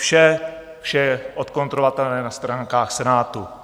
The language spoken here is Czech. Vše je odkontrolovatelné na stránkách Senátu.